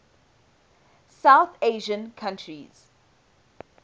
south asian countries